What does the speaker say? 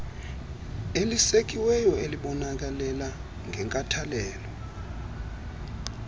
elisekiweyo elibonelela ngenkathalelo